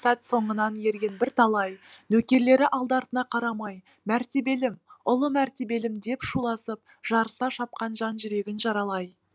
сәт соңынан ерген бірталай нөкерлері алды артына қарамай мәртебелім ұлы мәртебелім деп шуласып жарыса шапқан жан жүрегін жаралай